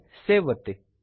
save ಒತ್ತಿ